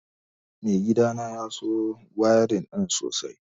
Mai gidana ya so wayarin ɗin sosai